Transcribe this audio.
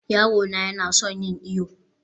yaro na yana son yin iyo